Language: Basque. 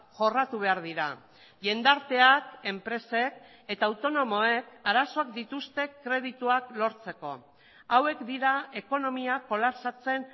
jorratu behar dira jendarteak enpresek eta autonomoek arazoak dituzte kredituak lortzeko hauek dira ekonomia kolapsatzen